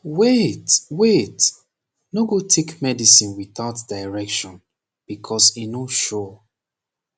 wait wait no go take medicine without direction becoz e no sure